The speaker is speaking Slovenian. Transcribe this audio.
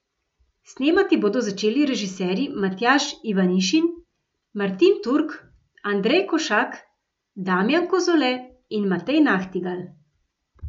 Snemati bodo začeli režiserji Matjaž Ivanišin, Martin Turk, Andrej Košak, Damjan Kozole in Matej Nahtigal.